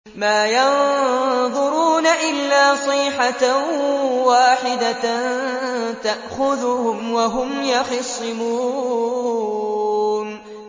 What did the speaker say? مَا يَنظُرُونَ إِلَّا صَيْحَةً وَاحِدَةً تَأْخُذُهُمْ وَهُمْ يَخِصِّمُونَ